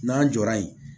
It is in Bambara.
N'an jɔra yen